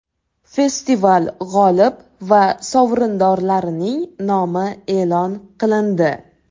Festival g‘olib va sovrindorlarining nomi e’lon qilindi.